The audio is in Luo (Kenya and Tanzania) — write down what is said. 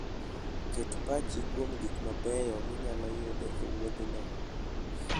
Ket pachi kuom gik mabeyo minyalo yudo e wuodhno.